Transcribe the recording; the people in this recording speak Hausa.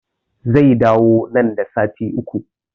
Zai dawo nan da sati uku